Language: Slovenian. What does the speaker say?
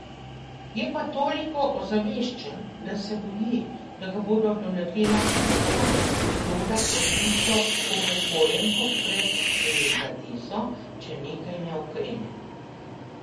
Je pa toliko ozaveščen, da se boji, da ga bo doletela ista usoda kot tisto upokojenko pred delikateso, če nekaj ne ukrene.